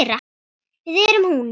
Við erum hún.